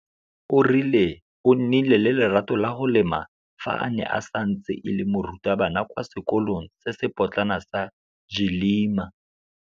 o rile o nnile le lerato la go lema fa a ne a santse e le morutabana kwa sekolong se se potlana sa Gcilima.